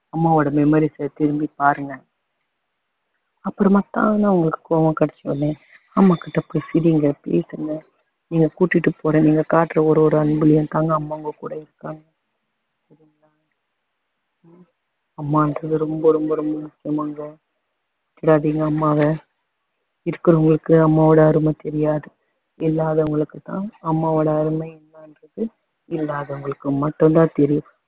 அம்மானறது ரொம்ப ரொம்ப ரொம்ப முக்கியமானவங்க விட்ராதீங்க அம்மாவ இருக்கிறவங்களுக்கு அம்மாவோட அருமை தெரியாது இல்லாதவங்களுக்கு தான் அம்மாவோட அருமை என்னன்றது இல்லாதவங்களுக்கு மட்டும் தான் தெரியும்